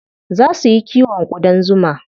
Zaa su yi kiwon ƙudan zuma.